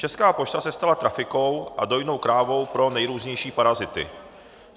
Česká pošta se stala trafikou a dojnou krávou pro nejrůznější parazity.